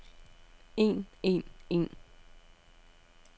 en en en